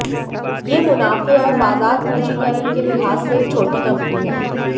यह मुनाफे और बाजार पूंजीकरण के लिहाज से एक छोटी कंपनी है